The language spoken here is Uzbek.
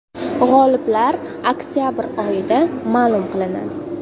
G‘oliblar oktabr oyida ma’lum qilinadi.